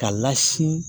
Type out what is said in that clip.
K'a lasini